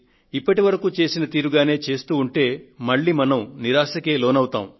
ఇప్పటివరకు చేసిన తీరుగానే చేస్తూ ఉంటే మళ్లీ మనం నిరాశకే లోనవుతాము